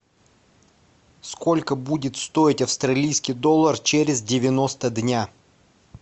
сколько будет стоить австралийский доллар через девяносто дня